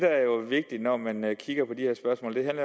vigtigt når man kigger på de her spørgsmål er